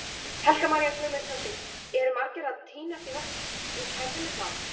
Helga María Guðmundsdóttir: Eru margir að týnast í kerfinu þar?